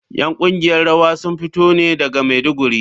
’Yan kungiyar rawa sun fito ne daga Maiduguri.